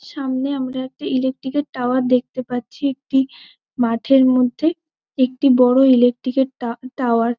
সামনে আমরা একটি ইলেকট্রিকের টাওয়ার দেখতে পাচ্ছি একটি মাঠের মধ্যে। একটি বড় ইলেকট্রিকের টাওয়ার ।